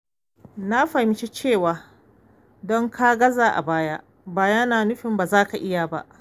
Na fahimci cewa don ka gaza a baya ba yana nufin ba za ka iya ba.